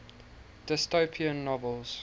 dystopian novels